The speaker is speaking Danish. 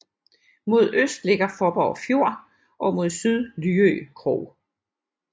Mod øst ligger Fåborg Fjord og mod syd Lyø Krog